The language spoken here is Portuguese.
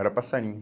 Era passarinho.